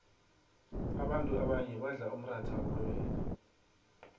abanfu abanye badlaumxatha wamabele